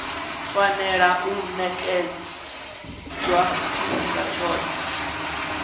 fanela u ṅetshedzwa tshifhinga tshoṱhe